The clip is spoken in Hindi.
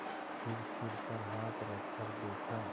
फिर सिर पर हाथ रखकर देखा